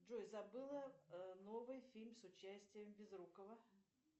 джой забыла новый фильм с участием безрукова